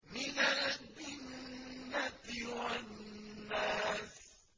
مِنَ الْجِنَّةِ وَالنَّاسِ